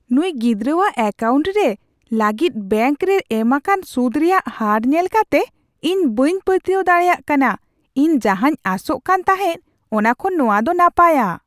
ᱱᱩᱭ ᱜᱤᱫᱽᱨᱟᱹᱣᱟᱜ ᱮᱠᱟᱣᱩᱱᱴ ᱨᱮ ᱞᱟᱹᱜᱤᱫ ᱵᱮᱝᱠ ᱨᱮ ᱮᱢᱟᱠᱟᱱ ᱥᱩᱫ ᱨᱮᱭᱟᱜ ᱦᱟᱨ ᱧᱮᱞ ᱠᱟᱛᱮ ᱤᱧ ᱵᱟᱹᱧ ᱯᱟᱹᱛᱭᱟᱹᱣ ᱫᱟᱲᱮᱭᱟᱜ ᱠᱟᱱᱟ ! ᱤᱧ ᱡᱟᱦᱟᱸᱧ ᱟᱥᱚᱜ ᱠᱟᱱ ᱛᱟᱦᱮᱸ ᱚᱱᱟ ᱠᱷᱚᱱ ᱱᱚᱶᱟ ᱫᱚ ᱱᱟᱯᱟᱭᱟ ᱾